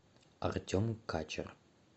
артем качер